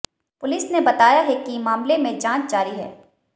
police ने बताया है कि मामले में जांच जारी है